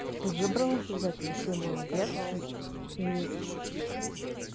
ты выбралась из этого ты молодец и